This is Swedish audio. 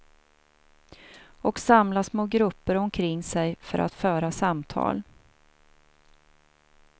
Och samla små grupper omkring sig för att föra samtal.